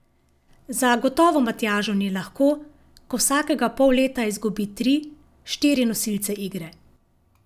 Zagotovo Matjažu ni lahko, ko vsakega pol leta izgubi tri, štiri nosilce igre.